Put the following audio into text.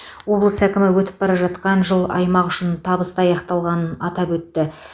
облыс әкімі өтіп бара жатқан жыл аймақ үшін табысты аяқталғанын атап өтті